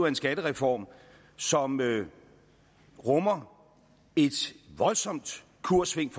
en skattereform som rummer et voldsomt kurssving